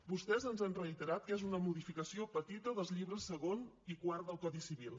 vostès ens han reiterat que és una modificació petita dels llibres segon i quart del codi civil